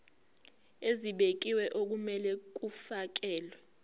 ezibekiwe okumele kufakelwe